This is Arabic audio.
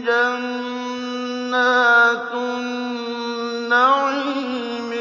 جَنَّاتُ النَّعِيمِ